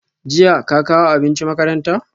Jiya ka kawo abinci makaranta?